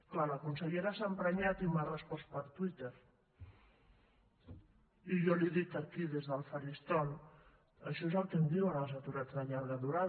clar la consellera s’ha emprenyat i m’ha respost per twitter i jo li dic aquí des del faristol això és el que em diuen els aturats de llarga durada